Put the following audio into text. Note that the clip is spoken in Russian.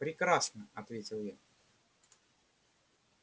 прекрасно ответил я